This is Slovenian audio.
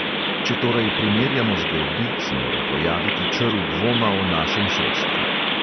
Če torej primerjamo zgodbi, se mora pojaviti črv dvoma o našem sodstvu.